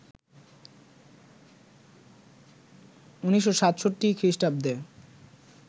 ১৯৬৭ খ্রিষ্টাব্দে